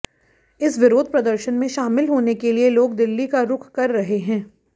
इस विरोध प्रदर्शन में शामिल होने के लिए लोग दिल्ली का रुख कर रहे हैं